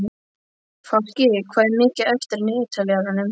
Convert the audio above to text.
Fálki, hvað er mikið eftir af niðurteljaranum?